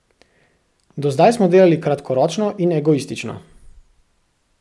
Do zdaj smo delali kratkoročno in egoistično.